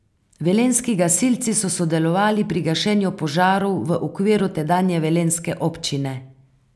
Velenjski gasilci so sodelovali pri gašenju požarov v okviru tedanje velenjske občine.